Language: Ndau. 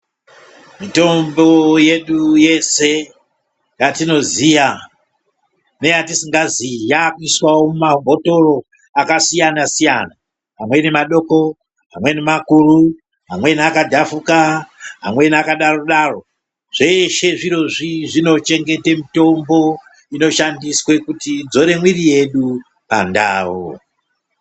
Mitombo yedu yese yatinoziya neyatisingazii yakuiswawo mumabhothor akasiyana-siyana, amweni madoko, amweni makuru, amweni akadhafuka, amweni akadaro-daro. Zveshe zvirozvi zvinochengete mitombo inoshandiswa kuti idzore mwiri yedu pandau.